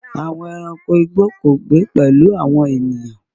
Àwọn ẹranko igbó kò gbé pẹ̀lú àwọn ènìyàn.